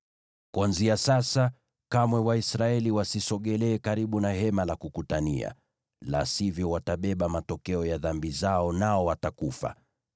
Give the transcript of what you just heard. Kuanzia sasa, kamwe Waisraeli wasisogelee karibu na Hema la Kukutania, la sivyo watabeba matokeo ya dhambi zao, nao watakufa.